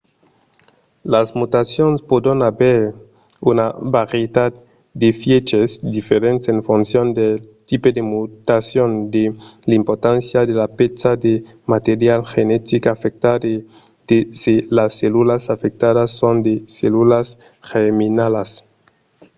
las mutacions pòdon aver una varietat d'efièches diferents en foncion del tipe de mutacion de l'importància de la pèça de material genetic afectat e de se las cellulas afectadas son de cellulas germinalas